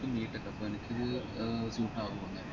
B. TECH ആ അപ്പൊ എനക്കിത് ഏർ suit ആവോ